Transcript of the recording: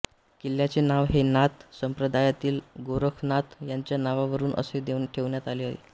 किल्ल्याचे नाव हे नाथ संप्रदायातील गोरखनाथ यांच्या नावावरुन असे ठेवण्यात आले आहे